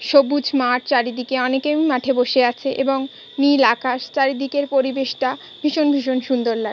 সবুজ মাঠ চারিদিকে অনেকেই মাঠে বসে আছে এবং নীল আকাশ চারিদিকের পরিবেশ টা ভীষণ ভীষণ সুন্দর লাগ --